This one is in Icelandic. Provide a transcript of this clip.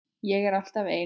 Ég er alltaf ein.